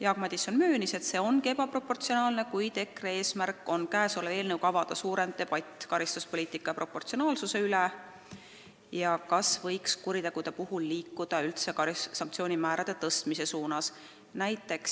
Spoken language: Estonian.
Jaak Madison möönis, et see on tõesti ebaproportsionaalne, kuid EKRE eesmärk on avada käesoleva eelnõu mõjul suurem debatt karistuspoliitika proportsionaalsuse üle ja selle üle, kas võiks üldse liikuda sanktsioonide karmistamise suunas.